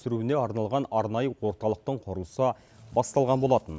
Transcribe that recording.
сүруіне арналған арнайы орталықтың құрылысы басталған болатын